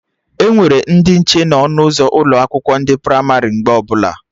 Enwere ndị nche na ọnụ ụzọ ụlọ akwụkwọ ndị pramarị mgbe ọbụla